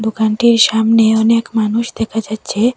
দোকানটির সামনে অনেক মানুষ দেখা যাচ্ছে।